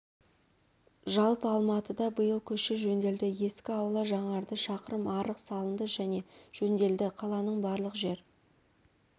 жалпы алматыда биыл көше жөнделді ескі аула жаңарды шақырым арық салынды және жөнделді қаланың барлық жер